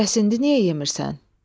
Bəs indi niyə yemirsən?